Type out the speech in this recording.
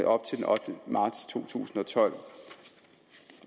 op til den ottende marts to tusind og tolv